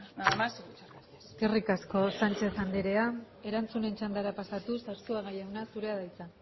nada más eskerrik asko sánchez anderea erantzunen txandara pasatuz arzuaga jauna zurea da hitza